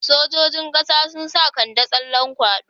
Sojojin ƙasa sun sa Kande tsallan kwaɗo.